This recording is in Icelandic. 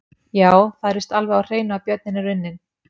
Já, það er víst alveg á hreinu að björninn er unninn!